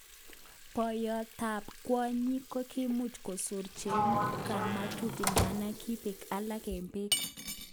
Boyot tab kwonyin kokimuch kosor chepkamatut idadan kibek alak eng beek.